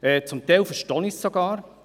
Zum Teil verstehe ich dies sogar.